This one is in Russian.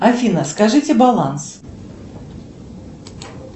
афина скажите баланс